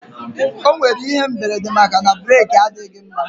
O nwere ihe mberede maka na breeki adịghị mma